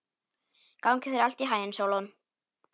Gangi þér allt í haginn, Sólon.